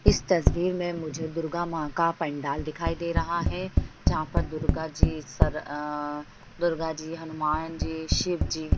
इस तस्बीर में मुझे दुर्गा माँ का पंडाल दिखाई दे रहा है। जहाँ पर दुर्गा जी सर अ दुर्गा जी हनुमान जी शिव जी --